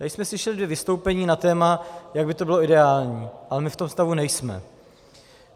Tady jsme slyšeli dvě vystoupení na téma, jak by to bylo ideální, ale my v tom stavu nejsme.